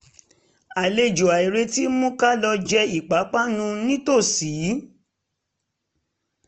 àlejò àìretí mú ká lọ jẹ ipápánu nítòsí